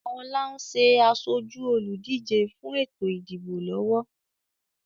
Ọlá ń ṣe asoju olùdíje fún ètò ìdìbò lọ́wọ́